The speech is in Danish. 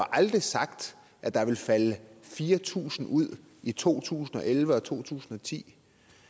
aldrig sagt at der ville falde fire tusind ud i to tusind og elleve og to tusind og ti